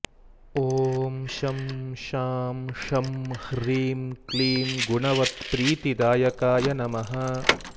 ॐ शं शां षं ह्रीं क्लीं गुणवत्प्रीतिदायकाय नमः